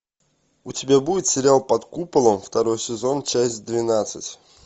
у тебя будет сериал под куполом второй сезон часть двенадцать